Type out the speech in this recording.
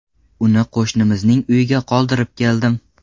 Uni qo‘shnimizning uyiga qoldirib keldim.